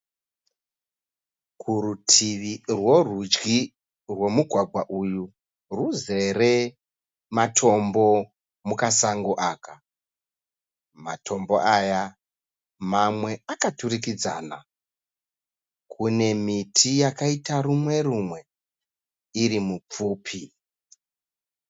Kuruti rwerudyi rwomugwagwa uyu ruzere matombo mukasango aka. Matombo aya mamwe akaturukidzana. Kune miti yakaita rumwe rumwe iri mipfupi.